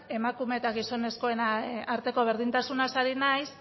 emakume eta gizonezkoen arteko berdintasunaz ari naiz